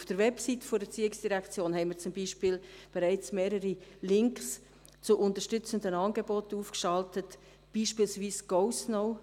Auf der Website der ERZ haben wir zum Beispiel schon mehrere Links zur Unterstützung der Angebote aufgeschaltet, beispielsweise GoSnow.